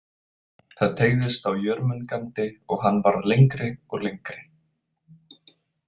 Það teygðist á Jörmungandi og hann varð lengri og lengri.